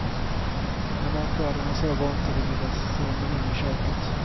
Ja, märkvärdigare än så var inte den lilla ceremonin i köket.